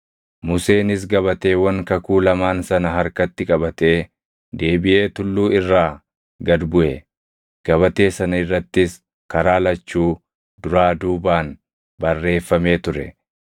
Museenis gabateewwan kakuu lamaan sana harkatti qabatee deebiʼee tulluu irraa gad buʼe. Gabatee sana irrattis karaa lachuu, duraa duubaan barreeffamee ture.